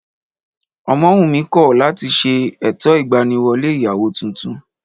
Ọmọwùnmí kọ̀ láti ṣe ètò ìgbaniwọlé ìyàwó tuntun